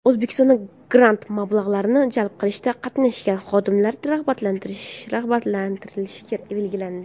O‘zbekistonda grant mablag‘larini jalb qilishda qatnashgan xodimlar rag‘batlantirilishi belgilandi.